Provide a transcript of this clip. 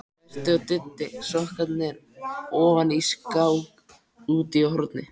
Berti og Diddi sokknir ofan í skák úti í horni.